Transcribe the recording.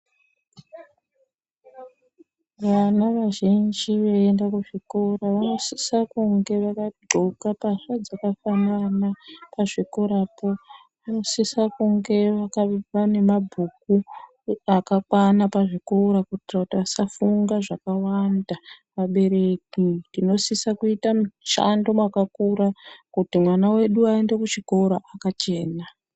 Vana vazhinji veienda kuzvikora vanosise kunge vakadxoka, pavakadxoka pana pazvikorapo panosisa kunge pane mabhuku akakwana pazvikora kuitira kuti vasafunga zvakawanda, vabereki tinosisa kuite mushando wakakura kuti vana vedu vaende kuchikoro vakachena.